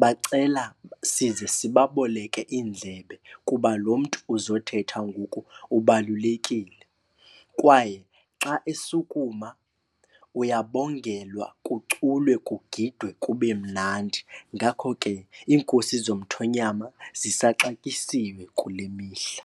bacela size sibaboleke iindlebe kuba lo mntu uzothetha ngoku ubalulekile. Kwaye xa esukuma uyabongelwa kuculwe kugidwe kube mnandi. Ngakho ke iinkosi zomthonyama zisaxatyisiwe kule mihla.